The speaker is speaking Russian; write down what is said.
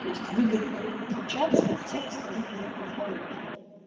то есть выгодно отличаться от всех остальных игроков на рынке